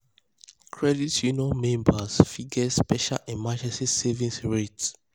credit union members fit get special emergency savings rate.